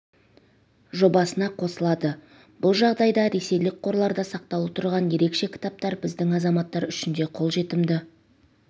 жобасына қосылады бұл жағдайда ресейлік қорларда сақтаулы тұрған ерекше кітаптар біздің азаматтар үшін де қолжетімді